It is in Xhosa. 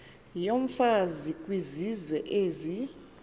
yomfazi kwizizwe ezi